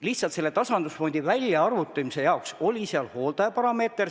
Lihtsalt tasandusfondi väljaarvutamisel on arvestatud hooldajaparameetrit.